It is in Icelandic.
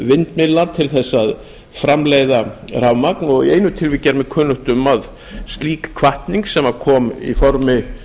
vindmyllna til að framleiða rafmagn og í einu tilviki er mér kunnugt um að slík hvatning sem kom í formi